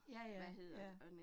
Ja ja, ja